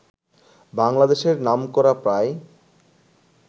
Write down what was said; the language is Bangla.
বাংলাদেশের নামকরা প্রায়